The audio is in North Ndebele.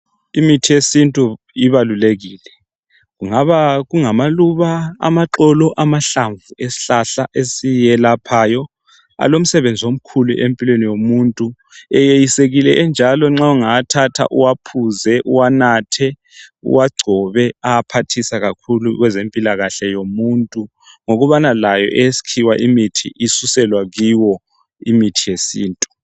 Imithi yesintu ibalulekile kungaba kungamaluba, amaxolo amahlamvu esihlahla esiyelaphayo alomsebenzi omkhulu empilweni yomuntu. Eyeyisikile enjalo nxa ungawathatha, uwaphuze, uwanathe, uwagcobe ayaphathisa kakhulu kwezempilakahle yomuntu ngokubana layo eyesikhiwa imithi isuselwa kuyo imithi yesintu.